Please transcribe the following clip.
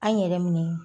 An yɛrɛ minɛ